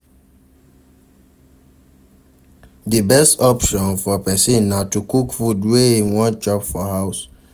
Di best option for person na to cook food wey im wan chop for house